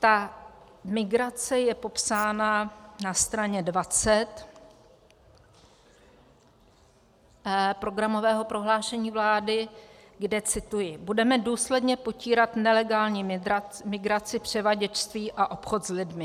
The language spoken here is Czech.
Ta migrace je popsána na straně 20 programového prohlášení vlády, kde cituji: Budeme důsledně potírat nelegální migraci, převaděčství a obchod s lidmi.